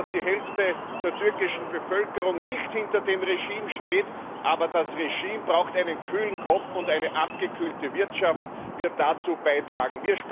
Wir wissen, dass die Hälfte der türkischen Bevölkerung nicht hinter dem Regime steht, aber das Regime braucht einen kühlen Kopf, und eine abgekühlte Wirtschaft wird dazu beitragen.